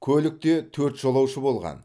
көлікте төрт жолаушы болған